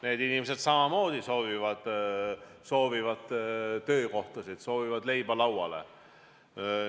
Need inimesed samamoodi soovivad töökohta, soovivad leiba lauale.